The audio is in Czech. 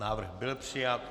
Návrh byl přijat.